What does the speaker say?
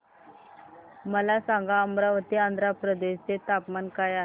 मला सांगा अमरावती आंध्र प्रदेश चे तापमान काय आहे